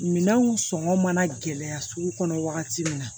Minɛnw sɔngɔ mana gɛlɛya sugu kɔnɔ wagati min na